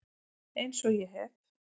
Eins og ég hef